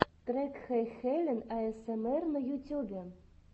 трек хэйхелен аэсэмэр на ютюбе